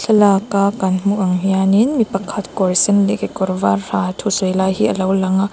thlalâka kan hmuh ang hianin mi pakhat kawr sen leh kawr vâr ha thusawi lai hi a lo lang a.